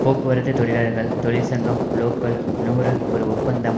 போக்குவரத்து தொழிலாளர்கள் தொழிற்சங்கம் லோக்கல் நூறு ஒரு ஒப்பந்தம்